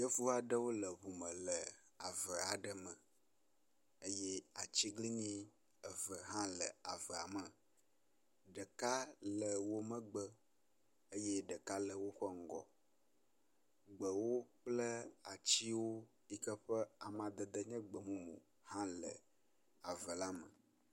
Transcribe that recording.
Yevu aɖewo le ŋu me le ave aɖe me eye atiglinyi eve hã le avea me, ɖeka le wo megbe eye ɖeka le woƒe ŋgɔ. Gbewo kple atiwo yike wo ƒe amadede nye gbemumu hã le ave la me.